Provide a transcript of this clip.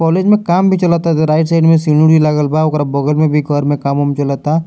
College में काम भी चलाता ते राइट साइड में सीढ़ी उढी लागल बा ओकर बगल में भी घर में काम उम चलाता।